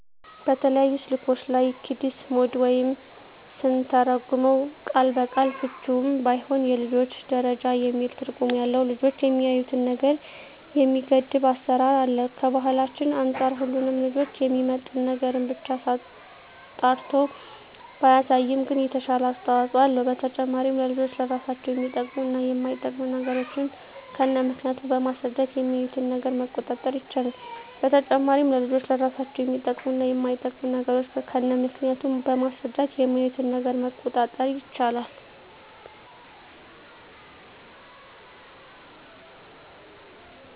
በተለያዩ ስልኮች ላይ "ኪድስ ሞድ" ወይም ስንተረጉመው ቃል በቃል ፍችውም ባይሆን የልጆች ደረጃ የሚል ትርጉም ያለው ልጆች የሚያዪትን ነገር የሚገድብ አሰራር አለ። ከባህላችን አንፃር ሁሉንም ልጆችን የሚመጥን ነገርን ብቻ አጣርቶ ባያሳይም ግን የተሻለ አስተዋጽኦ አለው። በተጨማሪም ለልጆች ለራሳቸው የሚጠቅሙ እና የማይጠቅሙ ነገሮችን ከነምክንያቱ በማስረዳት የሚያዪትን ነገር መቆጣጠር ይቻላል። በተጨማሪም ለልጆች ለራሳቸው የሚጠቅሙ እና የማይጠቅሙ ነገሮችን ከነምክንያቱ በማስረዳት የሚያዪትን ነገር መቆጣጠር ይቻላል።